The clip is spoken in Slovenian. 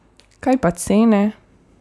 Kaj pa cene?